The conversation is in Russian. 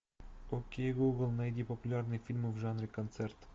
окей гугл найди популярные фильмы в жанре концерт